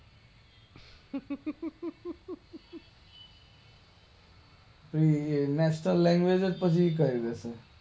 national language જ પછી